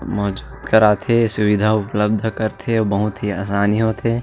मजबूत करात हे सुविधा उपलब्ध करथे बहुत ही आसनी होथे।